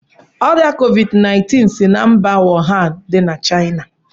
Ọrịa Kovid 19 si na mba Wuhan dị na Chaina.